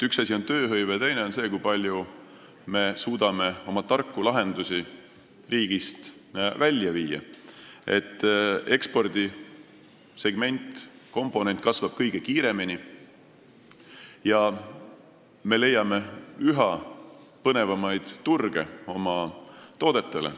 Üks asi on tööhõive ja teine on see, kui palju me suudame oma tarku lahendusi riigist välja viia, et ekspordisegment kasvaks kõige kiiremini ja me leiaksime üha põnevamaid turge oma toodetele.